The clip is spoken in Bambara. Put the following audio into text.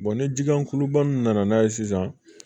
ni ji gulobana nana ye sisan